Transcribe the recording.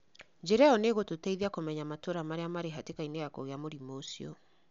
Njĩra ĩyo nĩ ĩgũtũteithia kũmenya matũra marĩa mari hatĩkainĩ ya kũgia mũrimo ucio.